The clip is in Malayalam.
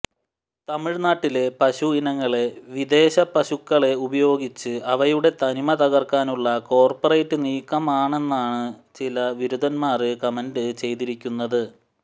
തമിഴ്നാട്ടിലെ പശു ഇനങ്ങളെ വിദേശ പശുക്കളെ ഉപയോഗിച്ച് അവയുടെ തനിമ തകര്ക്കാനുള്ള കോര്പ്പറേറ്റ് നീക്കമാണെന്നാണ് ചില വിരുതന്മാര് കമന്റ് ചെയ്തിരിക്കുന്നത്